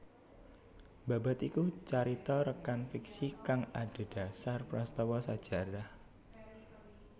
Babad iku carita rèkan fiksi kang adhedhasar prastawa sajarah